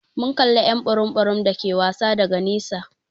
Mun kalla y'an burum burum dake wasa daga nesa.